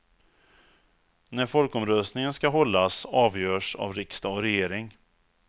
När folkomröstningen skall hållas avgörs av riksdag och regering.